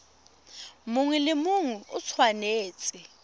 mongwe le mongwe o tshwanetse